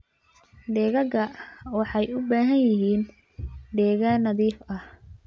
Digaagga waxay u baahan yihiin deegaan nadiif ah.